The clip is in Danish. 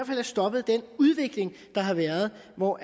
have stoppet den udvikling der har været hvor